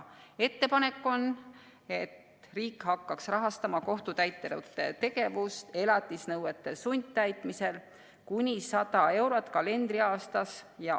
Ettepanek on, et riik hakkaks rahastama kohtutäiturite tegevust elatisnõuete sundtäitmisel kuni 100 euro eest kalendriaastas.